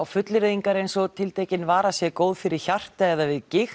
fullyrðingar eins og að tiltekin vara sé góð fyrir hjarta eða við gigt